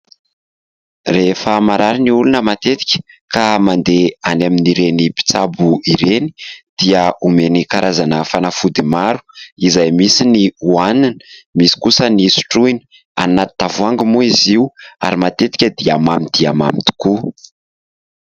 Rehefa marary ny olona matetika ka mandeha any amin'ireny mpitsabo ireny dia omeny karazana fanafody maro izay misy ny hohanina misy kosa ny sotroina. Anỳ anaty tavoahangy moa izy io ary matetika dia mamy dia mamy tokoa.